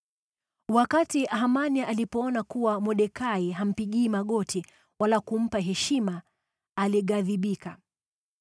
Wakati Hamani alipoona kuwa Mordekai hampigii magoti wala kumpa heshima alighadhibika.